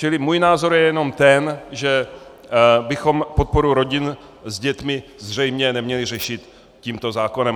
Čili můj názor je jenom ten, že bychom podporu rodin s dětmi zřejmě neměli řešit tímto zákonem.